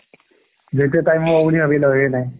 যেতিয়া time হ'ব বুলি নাই